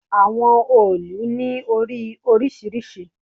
Àwọn òòlù ni ori orisirisi